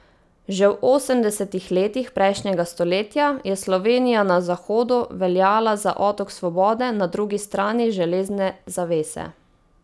Že v osemdesetih letih prejšnjega stoletja je Slovenija na zahodu veljala za otok svobode na drugi strani železne zavese.